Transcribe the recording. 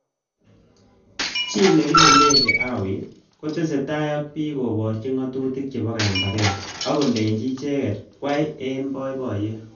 Chi nekile Levy Hawi kotesetai ak bik koborjin ngatutik chebo kambaget ak kolenjin icheket kwai eng boiboyet.